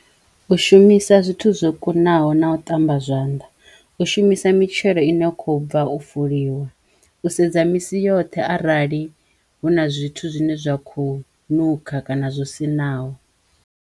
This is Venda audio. U shumisa zwithu zwo kunaho na u ṱamba zwanḓa, u shumisa mitshelo i no kho bva u fuliwa, u sedza misi yoṱhe arali hu na zwithu zwine zwa khou nukha kana zwo siṋaho.